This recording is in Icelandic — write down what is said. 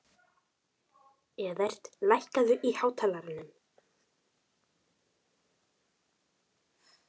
Evert, lækkaðu í hátalaranum.